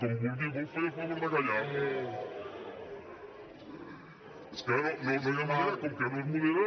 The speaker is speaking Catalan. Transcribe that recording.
com vulgui vol fer el favor de callar és que no hi ha manera com que no es modera